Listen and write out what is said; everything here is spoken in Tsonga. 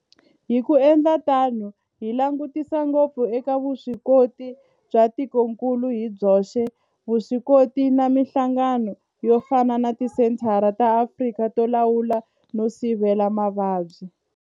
Hi ku endla tano hi langutisa ngopfu eka vuswikoti bya tikokulu hi byoxe, vuswikoti na mihlangano yo fana na Tisenthara ta Afrika to Lawula no Sivela Mavabyi, Afrika CDC.